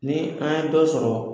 Ni an ye dɔ sɔrɔ